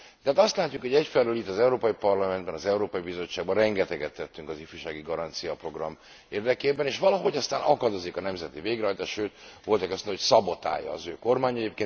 Tehát azt látjuk, hogy egyfelől itt az Európai Parlamentben, az Európai Bizottságban rengeteget tettünk az Ifjúsági Garancia Program érdekében, és valahogy aztán akadozik a nemzeti végrehajtás. Sőt, volt aki azt mondta, hogy szabotálja az ő kormánya.